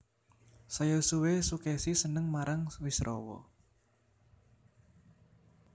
Saya suwé Sukesi seneng marang Wisrawa